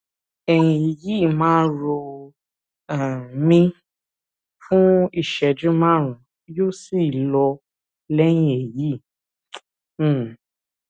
ẹyìn yìí máa ń ro um mí fuún ìṣẹjú márùnún yóò sì lọ lẹyìn èyí um